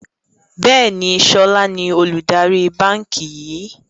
Bẹ́ẹ̀ni, sọlá ni olùdarí báńkì yìí